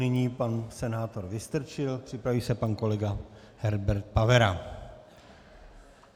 Nyní pan senátor Vystrčil, připraví se pan kolega Herbert Pavera.